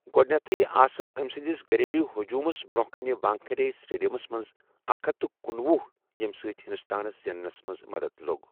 گوڈنیتھٕے آسہٕ امہِ سندِس گھریلوٗ ہجوٗمس برونہہ كِنہِ وانٛكھیڈے سٹیڈِیمس منز اکھ ہتھ کنوُہ یمہِ سۭتۍ ہندوستانس زیننس منز مدتھ لو٘گ ۔